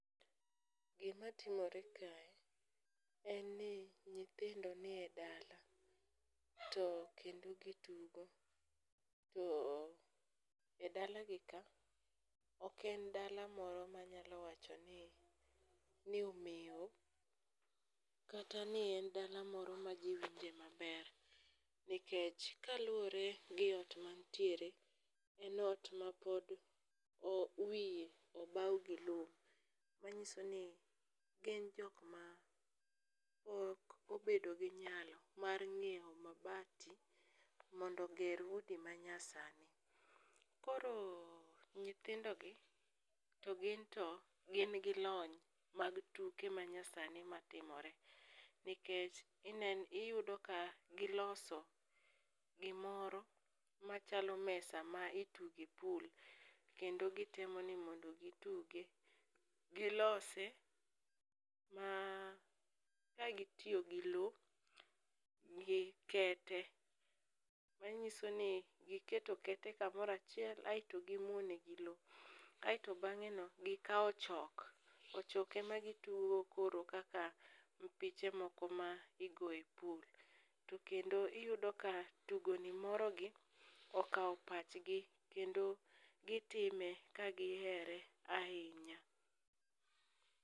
Gimatimore kae en ni nyithindo nie dala to kendo gitugo. To e dalagi ka, oken dala moro manyalo wachoni omeo kata ni en dala moro ma ji winje maber, nikech kaluwre gi ot mantiere en ot mapod wiye obaw gi lum, manyiso ni gin jokma pok obedo gi nyalo mar nyieo mabati mondo oger udi manyasani. Koro nyithindogi to ginto gin gi lony mag tuke mag nyasani matimore nikech iyudo ka giloso gimoro machalo mesa ma ituge pool kendo gitemo ni mondo gituge, gilose ma kagitiyo gi lo gi kete manyiso ni giketo kete kamoro achiel aeto gimuone gi lo aeto bang'eno gikawo ochok, ochok emagitugogo koro kaka mpiche moko ma igoye [pool to kendo iyudo ka tugoni morogi okawo pachgi kendo gitime ka gihere ahinya.